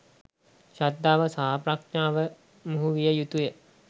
ශ්‍රද්ධාව සහ ප්‍රඥාව මුහු විය යුතුය.